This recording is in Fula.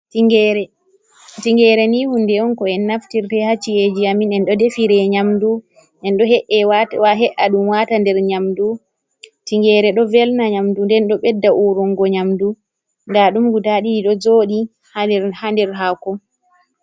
Tingere, tingere ni hunde on ko en naftirta ha ci'eji a min. En ɗo defire nyamdu en ɗo he’a ɗum wata nder nyamdu tingere ɗo velna nyamdu, nden ɗo ɓedda urungo nyamdu. Nda ɗum guda ɗiɗi ɗo jodi ha nder hako.